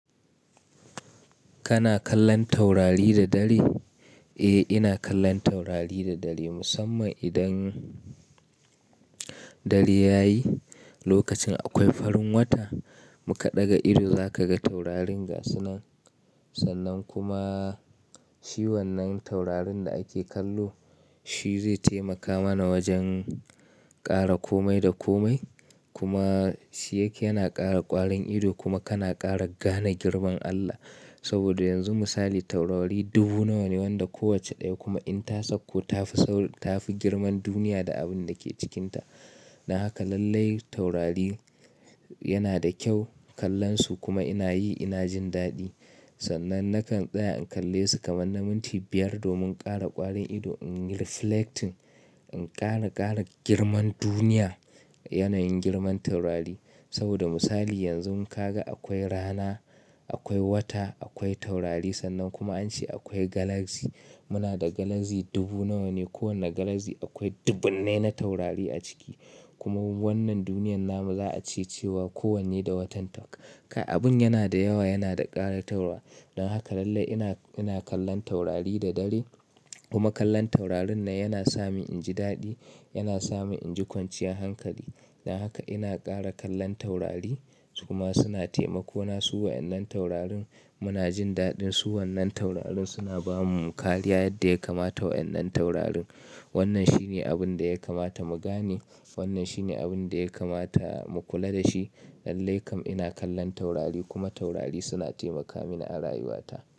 Kana kallon taurari da dare? Eh, ina kallon taurari da dare. Musamman idan dare yayi, lokacin akwai farin wata, muƙa ɗaga ido za kaga taurarin gasunan. Sannan kuma, shi wannan taurarin da ake kallo, shizai taimaka mana wajen ƙara komai da komai. Kuma shi yake yana ƙara ƙwarin ido kuma kana ƙara gane girman Allah. Saboda yanzu misali taurari dubu nawane wanda kowacce daya kuma inta sauko tafi tafi girman duniya da abundake cikinta. Don haka lallai taurari yanada kyau kallonsu kuma inayi, ina jin daɗi. Sannan nakan tsaya in kallesu kamar na minti biyar domin ƙara ƙwarin ido, in reflecting, in ƙara gane girman duniya, yanayin girman taurari. Saboda misali yanzu in kaga akwai rana, akwai wata, akwai taurari sannan kuma ance akwai galaxy. Muna da galaxy dubu nawa ne. Kowane galaxy akwai dubunnai na taurari a ciki. Kuma wannan duniyan namu za'a ce cewa kowanne da watan ta. Kai abin yanada yawa, yanada ƙaratarwa. Don haka lallai ina, ina kallon taurari da dare. Kuma kallon taurarin nan yana sani inji daɗi, yana sani inji kwanciyar hankali. Don haka ina ƙara kallon taurari suma suna taimako na su wa'yan nan taurarin muna jin daɗin su wannan taurarin suna bamu kariya yadda ya kamata wa'yannan taurarin. Wannan shine abinda ya kamata mu gane. Wannan shi ne abin da ya kamata mu kula da shi. Lallai kam ina kallon taurari kuma taurari suna taimaka mini a rayuwata.